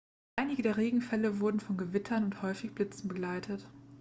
einige der regenfälle wurden von gewittern und häufigen blitzen begleitet